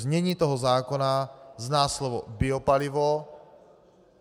Znění toho zákona zná slovo biopalivo.